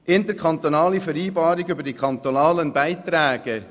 Interkantonale Vereinbarungen über die kantonalen Beiträge –